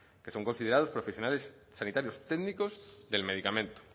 que son considerados profesionales sanitarios técnicos del medicamento